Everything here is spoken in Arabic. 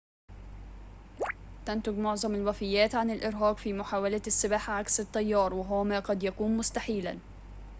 تنتجُ معظمُ الوفيّاتِ عن الإرهاقِ في محاولةِ السّباحة عكس التيّار وهو ما قد يكونُ مستحيلاً